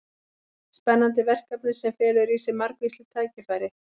Spennandi verkefni sem felur í sér margvísleg tækifæri.